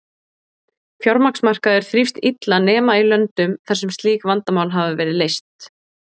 Fjármagnsmarkaður þrífst illa nema í löndum þar sem slík vandamál hafa verið leyst.